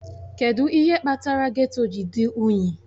Kedụ ihe kpatara geto ji dị unyi?